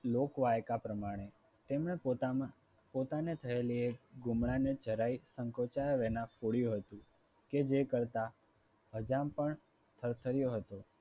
લોકવાયકા પ્રમાણે તેમને પોતામાં પોતાને થયેલી ગુમડાની જરાય સંકોચાયા વિના ફોડ્યું હતું. જે કરતા અજામ પણ થરથડ્યો હતો.